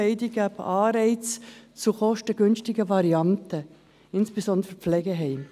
Beide geben Anreize zu kostengünstigen Varianten, insbesondere für die Pflegeheime.